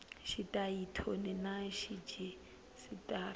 xitayili thoni na rhejisitara swi